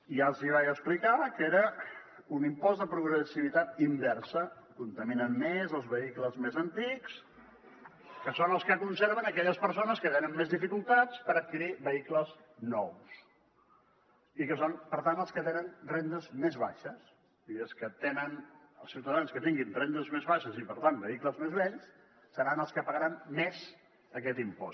ja els vaig explicar que era un impost de progressivitat inversa contaminen més els vehicles més antics que són els que conserven aquelles persones que tenen més dificultats per adquirir vehicles nous i que són per tant els que tenen rendes més baixes els ciutadans que tinguin rendes més baixes i per tant vehicles més vells seran els que pagaran més aquest impost